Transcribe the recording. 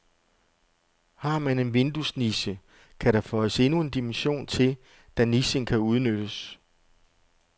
Har man en vinduesniche, kan der føjes endnu en dimension til, da nichen kan udnyttes.